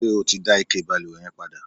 ṣé o ti dá ike ìbalùwẹ̀ yẹn padà?